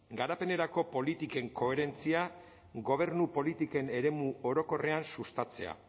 garapenerako politiken koherentzia gobernu politiken eremu orokorrean sustatzea